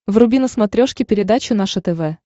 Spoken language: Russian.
вруби на смотрешке передачу наше тв